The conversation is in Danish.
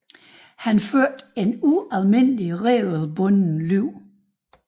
Han førte et ualmindeligt regelbundet liv